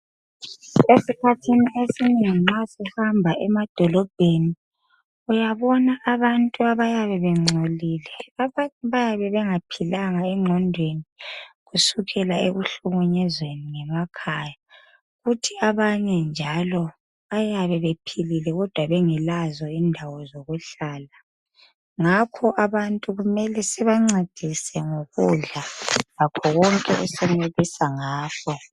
Esikhathini esinengi nxa sihamba emadolobheni. Uyabona abantu abayabe bengcolile. Abantu bayabe bengaphilanga engqondweni kusukela ekuhlukunyezweni ngemakhaya. Kuthi abanye njalo bayabe bephilile kodwa bengelazo indawo zokuhlala. Ngakho abantu kumele sibancedise ngokudla lakho konke esenelisa ngakho.